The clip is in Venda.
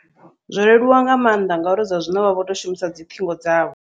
Zwo leluwa nga maanḓa, ngauri zwa zwino vha vho tou shumisa dzi ṱhingo dzavho.